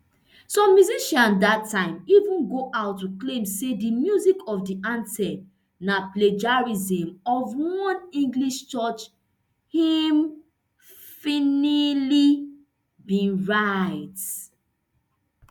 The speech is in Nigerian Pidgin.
some musicians dat time even go out to claim say di music of di anthem na plagiarism of one english church hymnmphahlele bin write